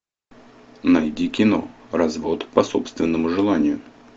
найди кино развод по собственному желанию